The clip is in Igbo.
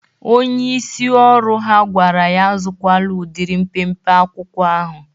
Onyeisi ọrụ ha gwara ya azụkwala udịrị mpempe akwụkwọ ahụ.